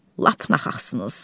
Lap naxaqsınız.